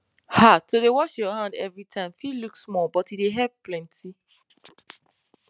ahto dey wash your hand every time fit look small but e dey help plenty